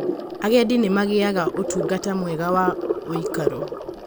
Agendi nĩ magĩaga ũtungata mwega wa ũikaro.